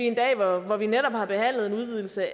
en dag hvor vi netop har behandlet en udvidelse